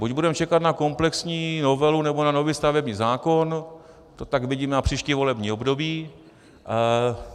Buď budeme čekat na komplexní novelu, nebo na nový stavební zákon, to tak vidím na příští volební období.